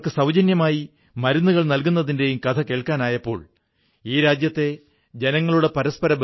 ഇത് രാമരാജ്യവുമായി ബന്ധപ്പെട്ട കാര്യമാണെന്നും ആളുകളുടെ ആവശ്യങ്ങൾ പൂർത്തികരിക്കുമ്പോൾ അവർ നിങ്ങളുമായി ഒത്തുചേരുന്നു എന്നും അദ്ദേഹം പറയുന്നു